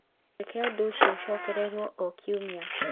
Reke ũndũ ũcio ũcokererũo o kiumia.